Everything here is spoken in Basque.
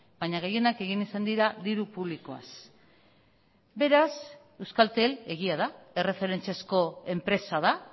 baina gehienak egin izan dira diru publikoaz beraz euskaltel egia da erreferentziazko enpresa da